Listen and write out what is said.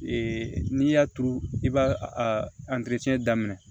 Ee n'i y'a turu i b'a a daminɛ